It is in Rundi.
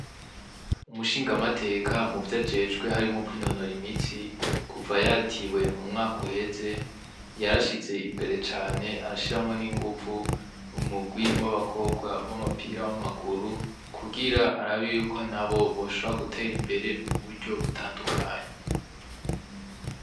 Umushingamateka muvyo ajejwe harimwo kwinonora imitsi, kuva yatiwe mu mwaka uheze, yarashize imbere cane arashiramwo n'inguvu umurwi w'abakobwa w'umupira w'amaguru kugirango arabe yuko nabo boshobora gutera imbere mu buryo batandukanye.